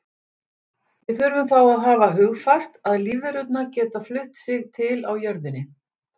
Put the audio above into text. Við þurfum þá að hafa hugfast að lífverurnar geta flutt sig til á jörðinni.